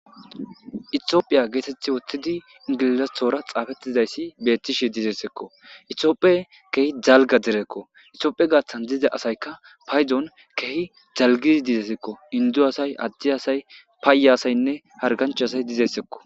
Itophiya geetethi wottidi ingilizatora xaafettizayssi beettishe dizessekko itiooppe keehi dalga derekko itiophe gaaththan diza asaykka paydon keehi dalgizi dizesekko indu asay addi asay paayye asaynne hargancha asay dizessekko